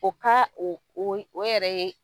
O ka o o yɛrɛ ye